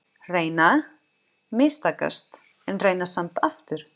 Reyna- mistakast, en reyna samt aftur.